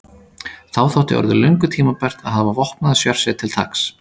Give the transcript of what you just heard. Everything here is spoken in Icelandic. Þá þótti orðið löngu tímabært að hafa vopnaða sérsveit til taks.